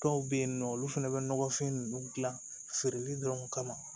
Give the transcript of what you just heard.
Dɔw bɛ yen nɔ olu fana bɛ nɔgɔfin ninnu dilan feereli dɔrɔn kama